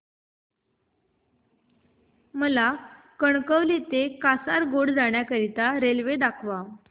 मला कणकवली ते कासारगोड जाण्या करीता रेल्वे दाखवा